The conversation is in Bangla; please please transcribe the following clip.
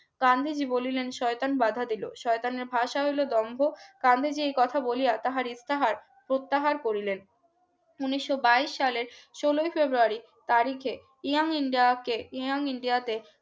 গান্ধীজী বলেন শয়তান বাধা দিল শয়তানের ভাষা হল দম্ভ গান্ধীজি এই কথা বলিয়া তাহার ইফতার করলেন উন্নিশশো বাইশ সালের ষোলোই february তারিখে young india কে young india তে